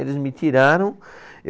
Eles me tiraram.